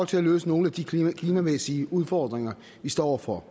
til at løse nogle af de klimamæssige udfordringer vi står over for